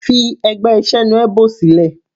Fi ẹgbẹ́ Senuebo sílẹ̀.